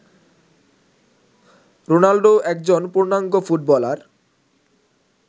Ronaldo একজন পূর্ণাঙ্গ footballer